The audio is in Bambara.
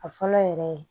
A fɔlɔ yɛrɛ ye